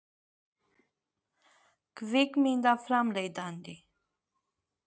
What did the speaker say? Sölvi Tryggvason: Hvaða fjármálastofnanir eru það?